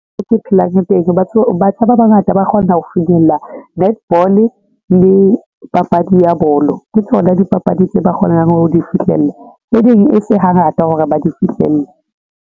Mo ke phelang teng batjha ba bangata ba kgona ho finyella netball le papadi ya bolo ke tsona dipapadi tse ba kgonang ho di fihlella. Tse ding e se hangata hore ba di fihlelle.